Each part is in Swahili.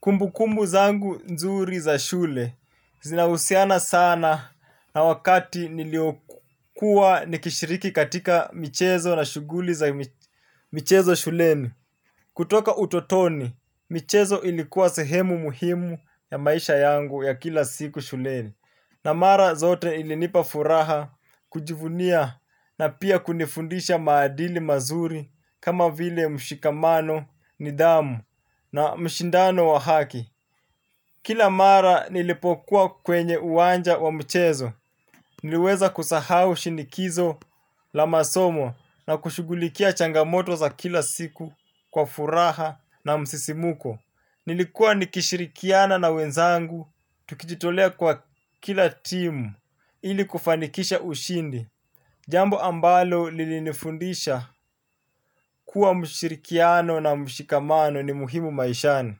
Kumbu kumbu zangu nzuri za shule, zinausiana sana na wakati niliokua nikishiriki katika michezo na shuguli za michezo shuleni. Kutoka utotoni, michezo ilikuwa sehemu muhimu ya maisha yangu ya kila siku shuleni. Na mara zote ilinipa furaha kujivunia na pia kunifundisha maadili mazuri kama vile mshikamano nidamu na mshindano wa haki. Kila mara nilipokuwa kwenye uwanja wa mchezo, niliweza kusahau shinikizo la masomo na kushugulikia changamoto za kila siku kwa furaha na msisimuko. Nilikuwa nikishirikiana na wenzangu, tukijitolea kwa kila timu ili kufanikisha ushindi. Jambo ambalo lilifundisha kuwa mshirikiano na mshikamano ni muhimu maishani.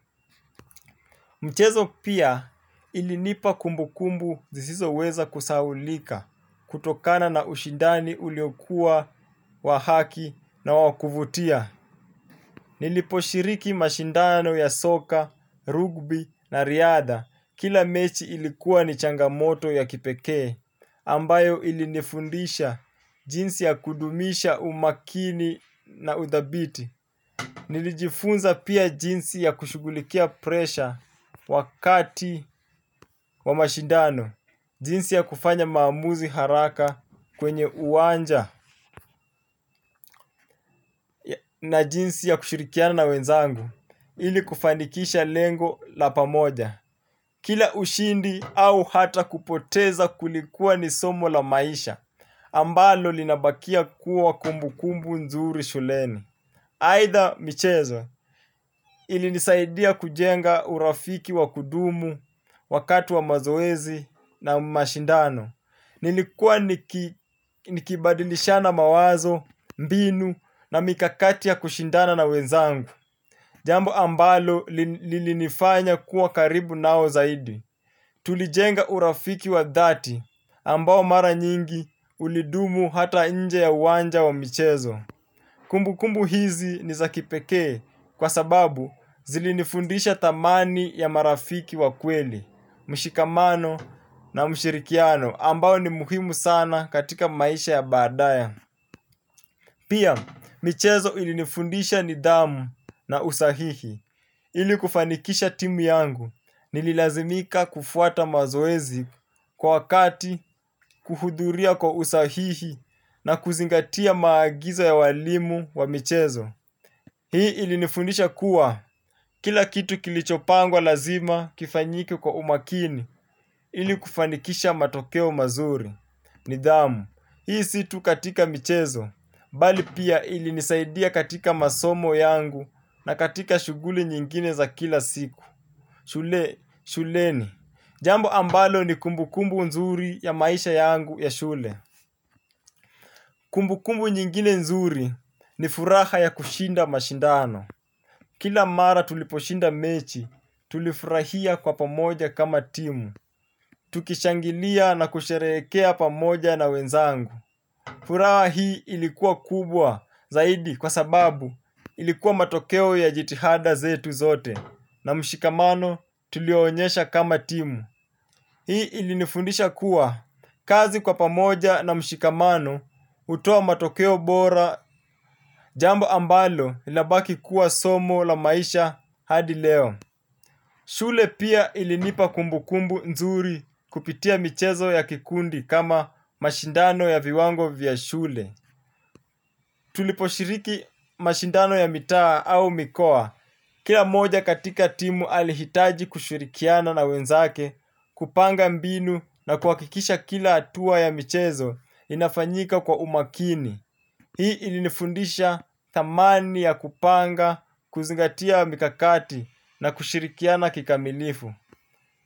Mchezo pia ilinipa kumbu kumbu zizizoweza kusawulika kutokana na ushindani uliokua wahaki na wakuvutia. Nilipo shiriki mashindano ya soka, rugby na riada kila mechi ilikuwa ni changamoto ya kipekee ambayo ilinifundisha jinsi ya kudumisha umakini na udhabiti. Nilijifunza pia jinsi ya kushugulikia presha wakati wa mashindano. Jinsi ya kufanya mamuzi haraka kwenye uanja na jinsi ya kushilikiana wenzangu ili kufanikisha lengo la pamoja. Kila ushindi au hata kupoteza kulikuwa ni somo la maisha ambalo linabakia kuwa kumbukumbu nzuri shuleni. Haitha michezo ilinisaidia kujenga urafiki wa kudumu wakati wa mazoezi na mashindano. Nilikuwa nikibadilishana mawazo, mbinu na mikakati ya kushindana na wezangu. Jambo ambalo lilinifanya kuwa karibu nao zaidi. Tulijenga urafiki wa dhati ambao mara nyingi ulidumu hata inje ya uwanja wa michezo. Kumbu kumbu hizi niza kipeke kwa sababu zilinifundisha tamani ya marafiki wa kweli, mshikamano na mshirikiano ambao ni muhimu sana katika maisha ya badaya. Pia, michezo ilinifundisha nidamu na usahihi ili kufanikisha timu yangu nililazimika kufuata mazoezi kwa wakati kuhuduria kwa usahihi na kuzingatia maagizo ya walimu wa michezo. Hii ilinifundisha kuwa kila kitu kilichopangwa lazima kifanyike kwa umakini ili kufanikisha matokeo mazuri. Nidhamu. Hii situ katika michezo. Bali pia ilinisaidia katika masomo yangu na katika shuguli nyingine za kila siku. Shule, shuleni. Jambo ambalo ni kumbukumbu nzuri ya maisha yangu ya shule. Kumbu kumbu nyingine nzuri ni furaha ya kushinda mashindano. Kila mara tuliposhinda mechi, tulifurahia kwa pamoja kama timu. Tukishangilia na kusherekea pamoja na wenzangu. Furaha hii ilikuwa kubwa zaidi kwa sababu ilikuwa matokeo ya jitihada zetu zote na mshikamano tulionyesha kama timu. Hii ilinifundisha kuwa kazi kwa pamoja na mshikamano utoa matokeo bora jambo ambalo linabaki kuwa somo la maisha hadi leo. Shule pia ilinipa kumbu kumbu nzuri kupitia michezo ya kikundi kama mashindano ya viwango vya shule. Tuliposhiriki mashindano ya mitaa au mikoa. Kila moja katika timu alihitaji kushirikiana na wenzake kupanga mbinu na kuakikisha kila atua ya michezo inafanyika kwa umakini. Hii ilinifundisha tamani ya kupanga, kuzingatia mikakati na kushirikiana kikamilifu.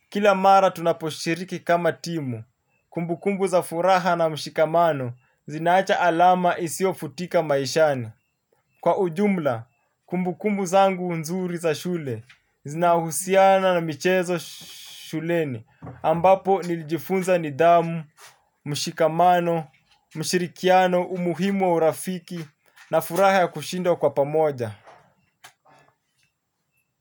Kila mara tunaposhiriki kama timu, kumbukumbu za furaha na mshikamano zinaacha alama isio futika maishani. Kwa ujumla, kumbukungu zangu nzuri za shule, zinahusiana na michezo shuleni ambapo nilijifunza ni damu, mshikamano, mshirikiano, umuhimu wa urafiki na furaha ya kushinda kwa pamoja.